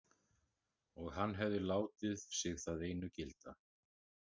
Og hann hefði látið sig það einu gilda.